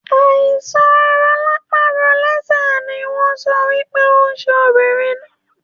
Àìsàn rolapa rolese no wọn sọ wípé onṣẹ ọmọbìnrin náà